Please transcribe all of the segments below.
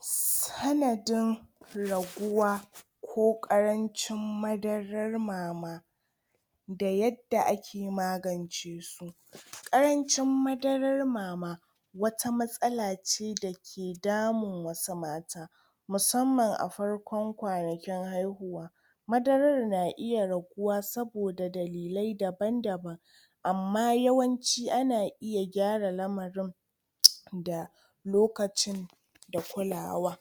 Sanadin raguwa ko ƙarancin madarar mama da yadda ake magance su. Ƙarancin madarar mama wata matsala ce da ke damun wasu matan musamman a farkon kwanakin haihuwa. Marar na iya raguwa saboda dalilai daba-daban amma yawanci ana iya gyara lamarin da lokacin da kulawa.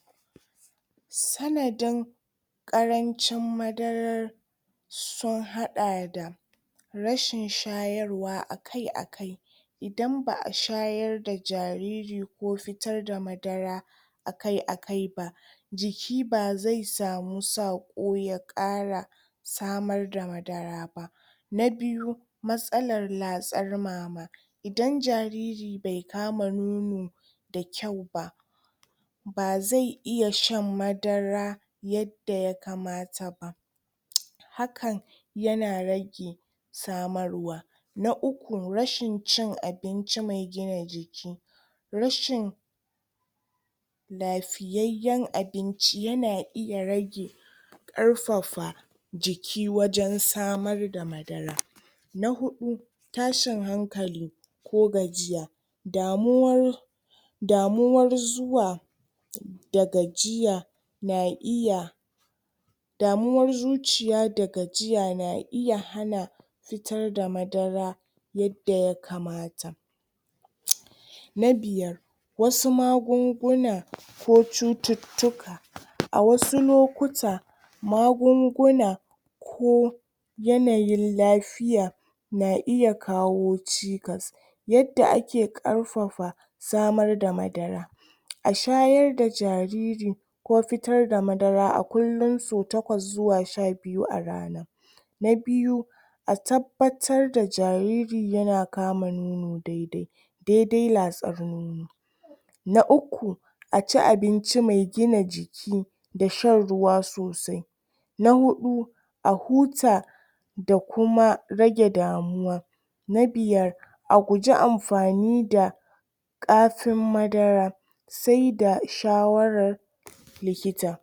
Sanadin Ƙarancin madarar sun haɗa da rashin shayarwa a kai a kai, Idan ba'a shayarda jariri ko fitar da madara a kai a kai ba, jiki bazai samu saƙo ya ƙara samar da madara ba. Na biyu, Matsalar latsar mama Idan jariri bai kama nono da kyau ba, bazai iya shan madara yadda ya kamata ba hakan ya na rage samarwa. Na uku rashin cin abinci mai gina jiki. rashin lafiyayyen abinci ya na iya rage ƙarfafa jiki wajen samar da madara. Na huɗu. Tashin hankali ko gajiya damuwar damuwar zuwa da gajiya na iya damuwar zuciya da gajiya na iya hana fitar da madara yadda ya kamata. Na biyar wasu magunguna ko cututtuka. A wasu lokuta, magunguna ko yanayin lafiya na iya kawo cikas. Yadda ake ƙarfafa samar da madara a shayar da jariri ko fitar da madara a kullum so takwas ko zuwa sha biyu a rana. Na biyu A tabbatar da jariri ya na kama nono dai dai. Dai dai latsar nono. Na uku. A ci abinci mai gina jiki da shan ruwa sosai. Na huɗu. A huta da kuma rage damuwa. Na biyar. A guji amfani da ƙafin madara sai da shawarar likita.